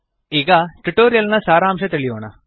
ಈಗ ಟ್ಯುಟೋರಿಯಲ್ ನ ಸಾರಾಂಶ ತಿಳಿಯೋಣ